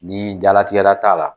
Ni jalatigɛla t'a la.